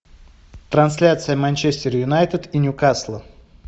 трансляция манчестер юнайтед и ньюкасла